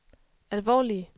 alvorlige